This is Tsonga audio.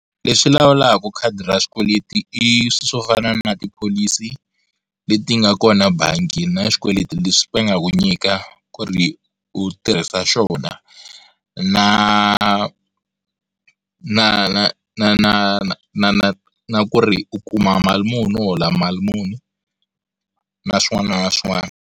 Lexi lawulaka khadi ra xikweleti i swilo swo fana na tipholisi leti nga kona bangi na xikweleti leswi va nga ku nyika ku ri u tirhisa xona na na na na na na na na ku ri u kuma mali muni u hola mali muni na swin'wana na swin'wana.